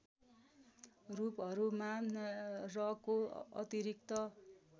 रूपहरुमा रको अतिरिक्त